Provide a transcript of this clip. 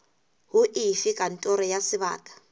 ho efe kantoro ya sebaka